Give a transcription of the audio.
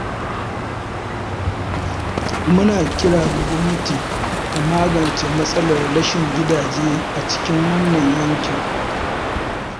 Muna kira ga gwamnati ta magance matsalar rashin gidaje a cikin wannan yankin.